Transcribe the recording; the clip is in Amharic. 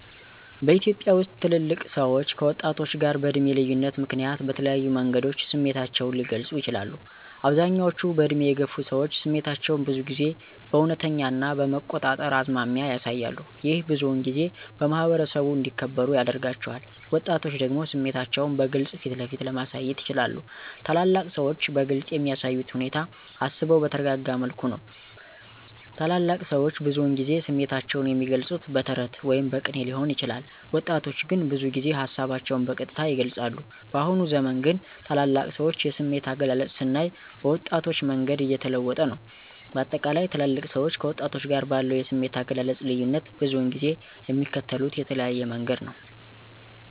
በኢትዮጵያ ውስጥ ትልልቅ ሰዎች ከወጣቶች ጋር በዕድሜ ልዩነት ምክንያት በተለያዩ መንገዶች ስሜታቸውን ሊገልጹ ይችላሉ፦ አብዛኞቹ በዕድሜ የገፉ ሰዎች ስሜታቸውን ብዙ ጊዜ በእውነተኛ ና በመቆጣጠር አዝማሚያ ያሳያሉ። ይህ ብዙውን ጊዜ በማኅበረሰቡ እንዲከበሩ ያደርጋቸዋል። ወጣቶች ደግሞ ስሜታቸውን በግልጽ ፊትለፊት ለማሳየት ይችላሉ። ታላላቅ ሰዎች በግልፅ የሚያሳዩት ሁኔታ አስበው በተረጋጋ መልኩ ነው። ታላላቅ ሰዎች ብዙውን ጊዜ ስሜታቸውን የሚገልፁት በተረት ወይም በቅኔ ሊሆን ይችላል። ወጣቶች ግን ብዙ ጊዜ ሀሳባቸውን በቀጥታ ይገልፃሉ። በአሁኑ ዘመን ግን ታላላቅ ሰዎች የስሜት አገላለጽ ስናይ በወጣቶች መንገድ እየተለወጠ ነው። በአጠቃላይ ትልልቅ ሰዎች ከወጣቶች ጋር ባለው የስሜት አገላለጽ ልዩነት ብዙውን ጊዜ የሚከተሉት የተለያየ መንገድ ነው።